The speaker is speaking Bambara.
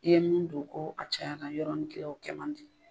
I ye min don kɔ a cayara yɔrɔnin kelen o kɛ man di.